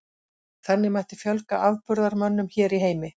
Þannig mætti fjölga afburðamönnum hér í heimi.